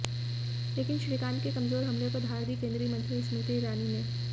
लेकिन श्रीकांत के कमज़ोर हमले को धार दी केंद्रीय मंत्री स्मृति ईरानी ने